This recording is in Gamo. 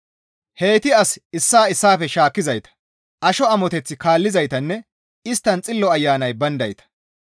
Heyti as issaa issaafe shaakkizayta; asho amoteth kaallizaytanne isttan Xillo Ayanay bayndayta.